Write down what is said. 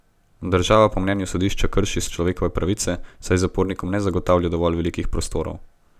Država po mnenju sodišča krši človekove pravice, saj zapornikom ne zagotavlja dovolj velikih prostorov.